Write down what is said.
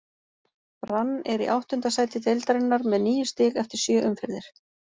Brann er í áttunda sæti deildarinnar með níu stig eftir sjö umferðir.